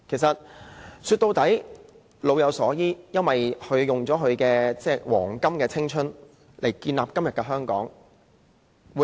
說到底，安老就是老有所依，因為長者用了自己青春的黃金歲月來建立今天的香港。